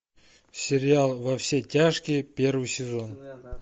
сериал во все тяжкие первый сезон